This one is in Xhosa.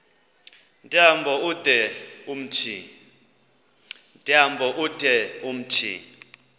tyambo ude umthi